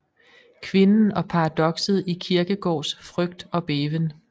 Kvinden og paradokset i Kierkegaards Frygt og Bæven